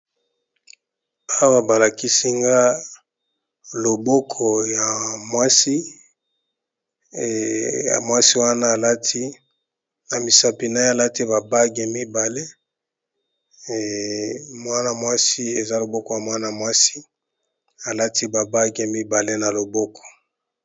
Swa balakisinga loboko ya mwasi wana alati na misapinai alati babage ya mibale mwana mwasi eza loboko ya mwana mwasi alati babage a mibale na loboko.